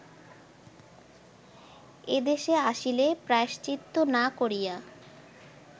এদেশে আসিলে প্রায়শ্চিত্ত না করিয়া